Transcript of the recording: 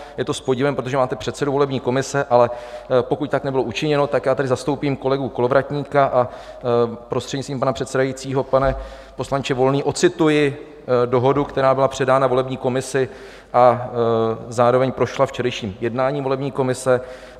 Je to s podivem, protože máte předsedu volební komise, ale pokud tak nebylo učiněno, tak já tady zastoupím kolegu Kolovratníka a, prostřednictvím pana předsedajícího, pane poslanče Volný, odcituji dohodu, která byla předána volební komisi a zároveň prošla včerejším jednáním volební komise.